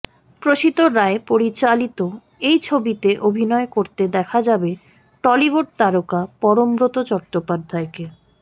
প্রসিত রায় পরিচালিত এই ছবিতে অভিনয় করতে দেখা যাবে টলিউড তারকা পরমব্রত চট্টোপাধ্যায়কে